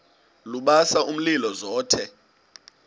lubasa umlilo zothe